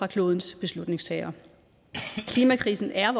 klodens beslutningstagere klimakrisen er